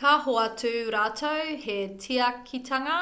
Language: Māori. ka hoatu rātou he tiakitanga